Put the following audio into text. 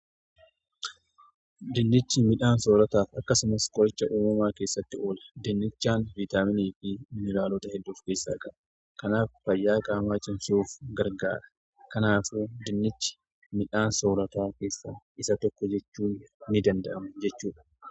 Dinnichi midhaan soorataaf akkasumas qoricha uumumaa keessatti oola. Dinnichaan viitaaminii fi mineraalota hedduu of keessaa qaba. Kanaaf fayyaa qaamaa cimsuuf gargaara. Kanaaf dinnichi midhaan soorataa keessa isa tokko jechuu ni danda'ama jechuudha.